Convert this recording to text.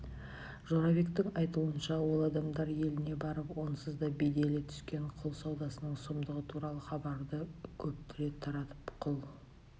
жорабектің айтуынша ол адамдар еліне барып онсыз да беделі түскен құл саудасының сұмдығы туралы хабарды көптіре таратып құл